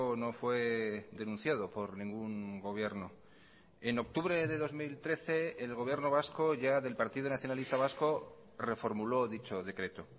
no fue denunciado por ningún gobierno en octubre de dos mil trece el gobierno vasco ya del partido nacionalista vasco reformuló dicho decreto